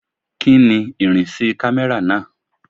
Kíni ìrìnsí camera náà?